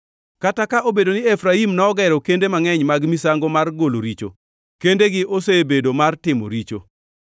“Kata ka obedo ni Efraim nogero kende mangʼeny mag misango mar golo richo, kendegi osebedo mar timo richo.